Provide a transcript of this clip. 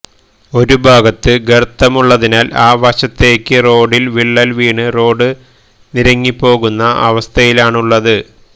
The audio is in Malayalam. ഒരുഭാഗത്ത് ഗര്ത്തമുള്ളതിനാല് ആ വശത്തേക്ക് റോഡില് വിള്ളല് വീണ് റോഡ് നിരങ്ങിപോകുന്ന അവസ്ഥയിലാണുള്ളത്